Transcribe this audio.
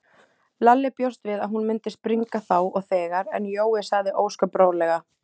Lalli bjóst við að hún myndi springa þá og þegar, en Jói sagði ósköp rólega